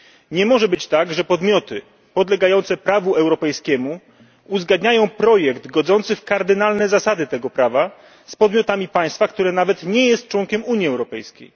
Nie może być tak, że podmioty podlegające prawu europejskiemu uzgadniają projekt godzący w kardynalne zasady tego prawa z podmiotami państwa, które nawet nie jest członkiem Unii Europejskiej.